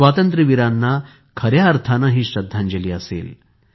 स्वातंत्र्य वीरांना खऱ्या अर्थाने हि श्रद्धांजली असेल